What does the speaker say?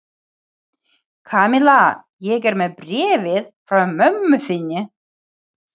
Kamilla, ég er með bréfið frá mömmu þinni.